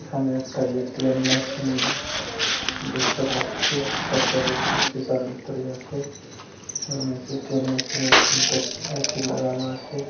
এখানে একটা ATM machine দেখতে পাচ্ছি সেক্টরের শিসার ভিতরেই আছে ওই ম্যাচের এ.টি.এম মেশিন এর এ.সি লাগানো আছে।